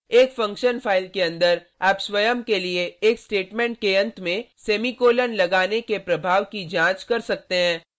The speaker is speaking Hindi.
एक फंक्शन फाइल के अंदर आप स्वयं के लिए एक स्टेटमेंट के अंत में सेमीकॉलन ; लगाने के प्रभाव की जांच कर सकते हैं